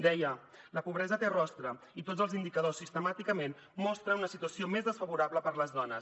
deia la pobresa té rostre i tots els indicadors sistemàticament mostren una situació més desfavorable per a les dones